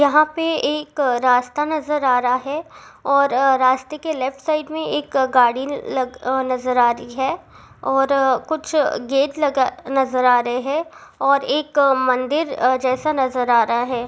यहाँ पे एक रास्ता नजर आ रहा है और रास्ते की लेफ्ट साइड में एक गाड़ी नजर आ रही है और कुछ गेट नजर आ रहे हैं और एक मंदिर जैसा नजर आ रहा है।